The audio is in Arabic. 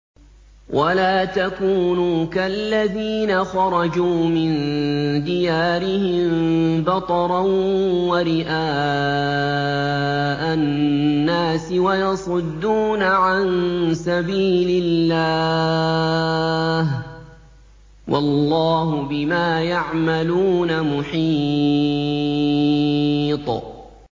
وَلَا تَكُونُوا كَالَّذِينَ خَرَجُوا مِن دِيَارِهِم بَطَرًا وَرِئَاءَ النَّاسِ وَيَصُدُّونَ عَن سَبِيلِ اللَّهِ ۚ وَاللَّهُ بِمَا يَعْمَلُونَ مُحِيطٌ